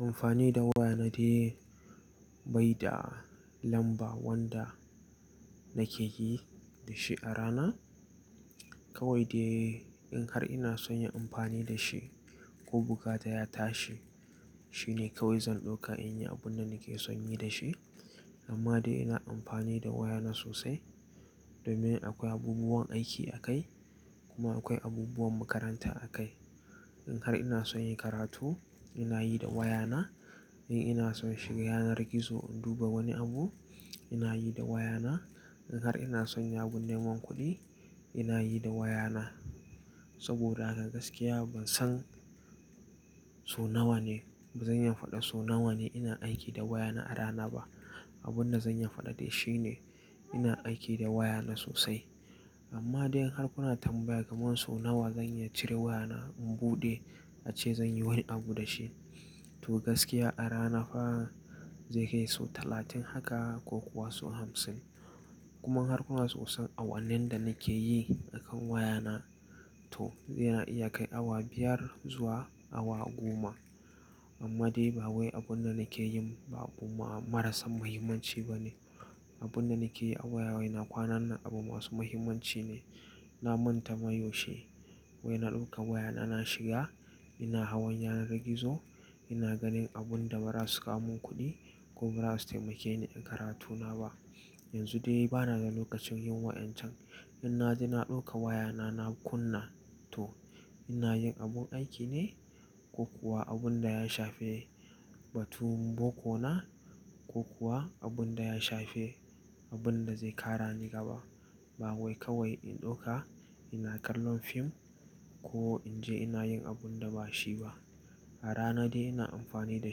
Amfani da waya na dai baida lamba wanda nake yi da shi a rana. Kawai dai in har ina son yin amfani da shi ko bukata ya tashi, shine kawai zan ɗauka in yi abun da nake son yi da shi. Amma dai ina amfani da waya na sosai domin akwai abubuwan aiki a kai kuma akwai abubuwan makaranta a kai. In har ina son in yi karatu, ina yi da waya na. In ina son shiga yanar gizo in duba wani abu, ina yi da waya na. In har ina son yin abun neman kuɗi, ina yi da waya na. Saboda haka gaskiya ban san so nawa ne-- bazan iya faɗa so nawa ne ina aiki da waya na a rana ba. Abun da zan iya faɗa dai shine ina aiki da waya na sosai. Amma dai in har kuna tambaya kamar so nawa zan iya cire waya na in buɗe ace zan yi wani abu da shi, to gaskiya a rana fa zai kai so talatin haka ko kuwa so hamsin. Kuma in har kuna so san awannin da nake yi akan waya na, to yana iya kai awa biyar zuwa awa goma. Amma dai ba wai abun da nake yin ba abu marasa muhimmanci bane. Abun da nake yi a waya wai na kwanan nan abu masu muhimmanci ne. Na manta ma yaushe wai na ɗauka waya na, na shiga ina hawan yanar gizo ina ganin abun da ba za su kawo mun kuɗi ko ba za su taimake ni in karatu na ba. Yanzu dai bana da lokacin yin wa'incan. In na je na ɗauka waya na, na kunna to ina yin abun aiki ne ko kuwa abun da ya shafe batun bokona ko kuwa abun da ya shafe abun da zai ƙara ni gaba. Ba wai kawai in ɗauka ina kallon fim ko in je ina yin abun da ba shi ba. A rana dai ina amfani da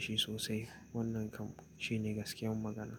shi sosai. Wannan kam shine gaskiyar magana.